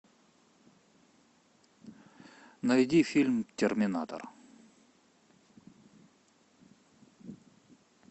найди фильм терминатор